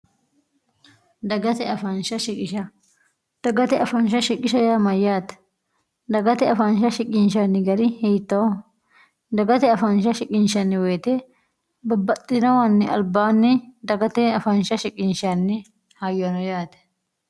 dagate fnh siisdagate afaansha shiqisha yaamayyaate dagate afaansha shiqinshanni gari hiitoo dagate afaansha shiqinshanni woyite babbaxxinowanni albaanni dagate afaansha shiqinshanni hayyono yaate